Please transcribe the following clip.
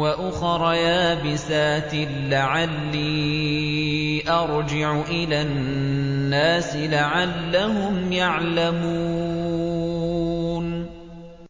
وَأُخَرَ يَابِسَاتٍ لَّعَلِّي أَرْجِعُ إِلَى النَّاسِ لَعَلَّهُمْ يَعْلَمُونَ